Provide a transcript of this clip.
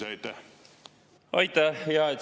Aitäh!